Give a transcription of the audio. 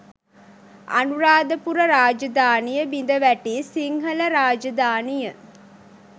අනුරාධපුර රාජධානිය බිඳවැටි සිංහල රාජධානිය